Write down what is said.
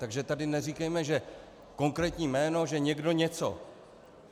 Takže tady neříkejme, že konkrétní jméno, že někdo něco.